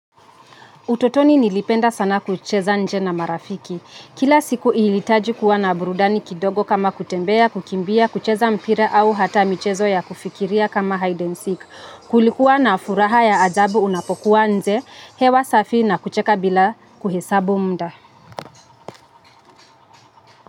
Utotoni nilipenda sana kucheza nje na marafiki. Kila siku ilitaji kuwa na burudani kidogo kama kutembea, kukimbia, kucheza mpira au hata michezo ya kufikiria kama hide and seek. Kulikuwa na furaha ya ajabu unapokuwa nje, hewa safi na kucheka bila kuhesabu mda.